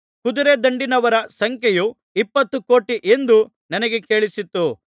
ಕುದುರೆ ದಂಡಿನವರ ಸಂಖ್ಯೆಯು ಇಪ್ಪತ್ತು ಕೋಟಿ ಎಂದು ನನಗೆ ಕೇಳಿಸಿತು